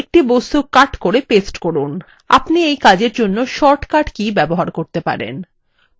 একটি বস্তু cut করে paste করুন আপনি you কাজের জন্য short cut cut ব্যবহার করতে পারেন